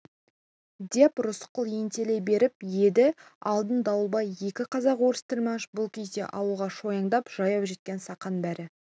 деп рысқұл ентелей беріп еді алдын дауылбай екі қазақ-орыс тілмаш бұл кезде ауылға шойнаңдап жаяу жеткен сақан бәрі